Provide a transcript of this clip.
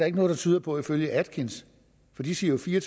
ikke noget der tyder på ifølge atkins for de siger jo fire